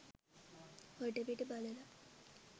වටපිට බලලා